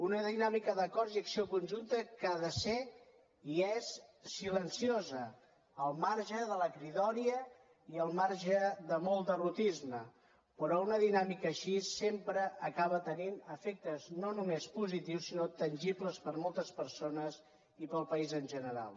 una dinàmica d’acords i acció conjunta que ha de ser i és silenciosa al marge de la cridòria i al marge de molt derrotisme però una dinàmica així sempre acaba tenint efectes no només positius sinó tangibles per a moltes persones i per al país en general